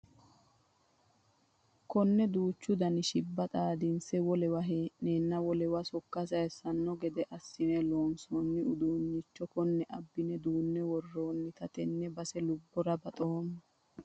Kone duuchu dani shibba xaadinse wolewa hee'nenna wolewa sokka sayissano gede assine loonsonni uduuncho kone abbine duune woronnite tene base lubbora baxoommo.